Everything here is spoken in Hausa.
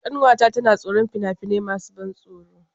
Ƙanwata tana tsoron fina-finai masu ban tsoro.